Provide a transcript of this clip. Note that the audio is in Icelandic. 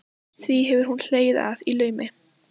Því hefur hún hlegið að í laumi.